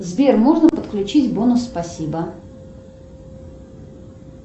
сбер можно подключить бонус спасибо